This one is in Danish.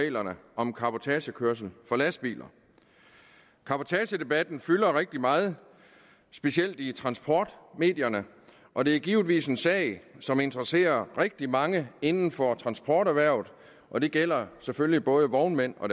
reglerne om cabotagekørsel for lastbiler cabotagedebatten fylder rigtig meget specielt i transportmedierne og det er givetvis en sag som interesserer rigtig mange inden for transporterhvervet og det gælder selvfølgelig både vognmænd og